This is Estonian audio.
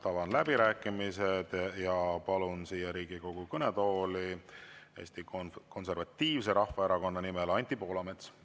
Avan läbirääkimised ja palun Riigikogu kõnetooli Eesti Konservatiivse Rahvaerakonna nimel Anti Poolametsa.